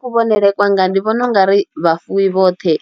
Kuvhonele kwanga ndi vhona ungari vhafuwi vhoṱhe